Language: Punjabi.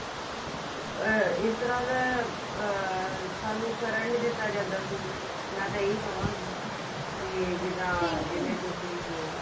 ਅਹ ਇਸ ਤਰ੍ਹਾਂ ਦਾ ਅਮ ਸਾਨੂੰ ਕਰਨ ਨੀ ਦਿੱਤਾ ਜਾਂਦਾ ਸੀ ਮੈਂ ਤਾਂ ਇਹੀ ਕਹਾ ਗਈ ਜਿੱਦਾਂ ਜਿਵੇਂ ਤੁਸੀਂ ਹੋ